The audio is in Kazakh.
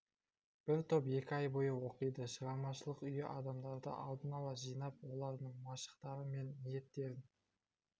бір топ екі ай бойы оқиды шығармашылық үйі адамдарды алдын ала жинап олардың машықтары мен ниеттерін